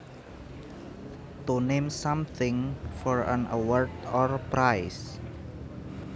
To name something for an award or prize